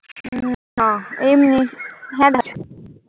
না এমনি। হ্যাঁ দেখা